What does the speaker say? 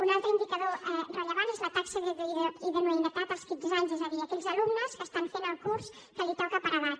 un altre indicador rellevant és la taxa d’idoneïtat als quinze anys és a dir aquells alumnes que estan fent el curs que els toca per edat